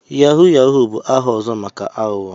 Yahoo yahoo bụ aha ọzọ maka aghụghọ.